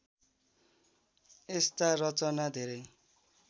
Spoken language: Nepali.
यस्ता रचना धेरै